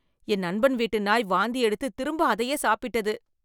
என் நண்பன் வீட்டு நாய் வாந்தி எடுத்து திரும்ப அதையே சாப்பிட்டது